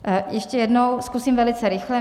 Ještě jednou, zkusím velice rychle.